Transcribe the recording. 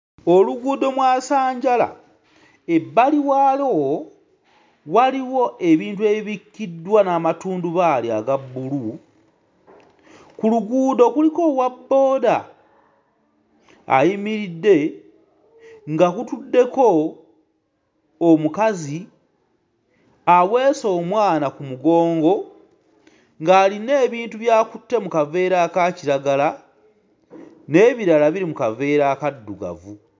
Oluguudo mwasanjala, ebbali waalwo waliwo ebintu ebibikkiddwa n'amatundubaali aga bbulu. Ku luguudo kuliko owabbooda ayimiridde nga kutuddeko omukazi aweese omwana ku mugongo ng'alina ebintu by'akutte mu kaveera aka kiragala, n'ebirala biri mu kaveera akaddugavu.